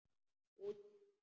Út af.